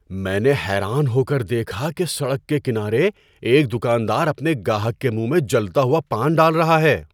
میں نے حیران ہو کر دیکھا کہ سڑک کے کنارے ایک دکاندار اپنے گاہک کے منہ میں جلتا ہوا پان ڈال رہا ہے۔